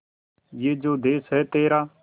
ये जो देस है तेरा